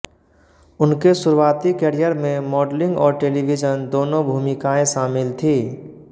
उनके शुरुआती करियर में मॉडलिंग और टेलीविजन दोनों भूमिकाएँ शामिल थीं